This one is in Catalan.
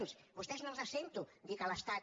a vostès no els sento dir que l’estat